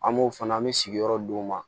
An b'o fana an bɛ sigiyɔrɔ d'u ma